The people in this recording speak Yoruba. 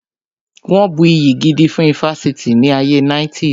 Wọn bu iyì gidi fún ifásitì ní ayé 90's